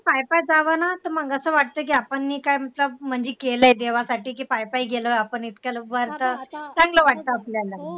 पाय पाय जावं ना तर आपण ने काय म्हणजे केलंय देवासाठी कि पाय पाय गेलं आपण इतक्या लवकर तर चांगलं वाटतं आपल्याला